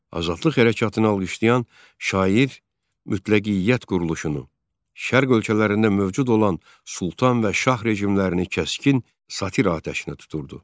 Azadlıq hərəkatını alqışlayan şair mütləqiyyət quruluşunu, Şərq ölkələrində mövcud olan sultan və şah rejimlərini kəskin satir atəşinə tuturdu.